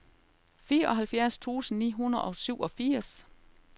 fireoghalvfjerds tusind ni hundrede og syvogfirs